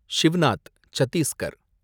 Shivnath Chhattisgarh